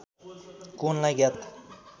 कोणलाई ज्ञात